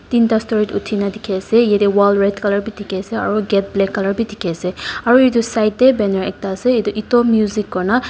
tinta storied uthi kena dikhi ase yate wall red color bi dikhi ase aro gate black color bi dikhi ase aro itu side te banner ekta ase itu ETO music kuri kena.